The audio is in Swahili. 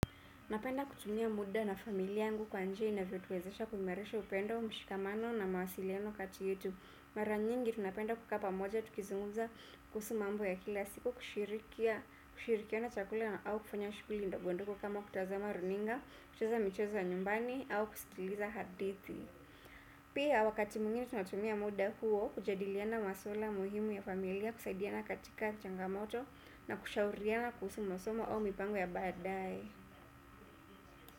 Napenda kutumia muda na familia yangu kwa njia inavyotuwezesha kuimarisha upendo, mshikamano na mawasiliano kati yetu. Mara nyingi tunapenda kukaa pamoja, tukizungumza kuhusu mambo ya kila siku, kushirikiana chakula na au kufanya shughuli ndogondogo kama kutazama runinga, kucheza micheza ya nyumbani, au kusikiliza hadithi. Pia wakati mwingine tunatumia muda huo, kujadiliana maswala muhimu ya familia, kusaidiana katika changamoto na kushauriana kuhusu masoma au mipango ya baadae.